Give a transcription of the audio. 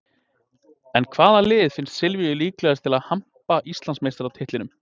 En hvaða lið finnst Silvíu líklegast til að hampa Íslandsmeistaratitlinum?